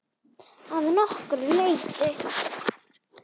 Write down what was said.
Að nokkru leyti.